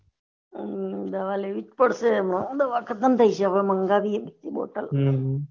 હમ દવા લેવીસ પડશે હમણાં દવા ખત્મ થઇ ગયી છે હવે માંન્ગ્વયીયે બોટલ